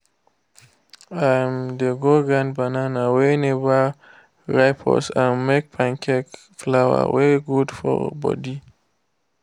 um they go grind banana wey never ripe use am make pancake flour wey good for body